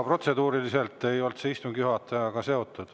Protseduuriliselt ei olnud see istungi seotud.